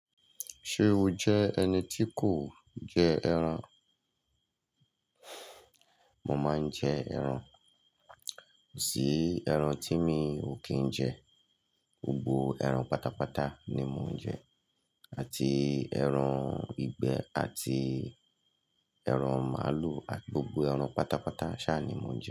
Ṣé o jẹ́ ẹni tí kò jẹ ẹran? Mo máa ń jẹ ẹran. Kò sí ẹran tí mi ò kí ń jẹ. Gbogbo ẹran pátápátá ni mo ń jẹ àti ẹran ìgbẹ́ àti ẹran màlúù àti gbogbo ẹran pátápátá ṣá ni mo ń jẹ.